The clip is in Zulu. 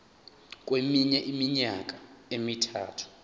kweminye iminyaka emithathu